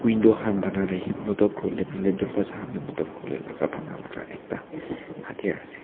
window kan banala he motohb kurovolae nahoile doorwaaza kan de motohb kurovolae la laka bana laga ekta hardiyaar ase.